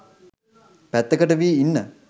පැත්තකට වී ඉන්න.